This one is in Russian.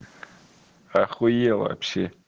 ахуела вообще